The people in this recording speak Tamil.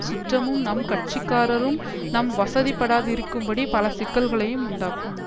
சுற்றமும் நம் கட்சிக்காரரும் நம் வசப்படாதிருக்கும்படி பல சிக்கல்களையும் உண்டாக்கும்